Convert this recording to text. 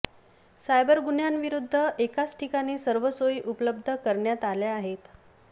cyber गुन्ह्यांविरुद्ध एकाच ठिकाणी सर्व सोयी उपलब्ध करण्यात आल्या आहेत